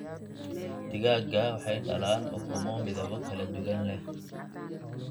Digaagga waxay dhalaan ukumo midabo kala duwan leh.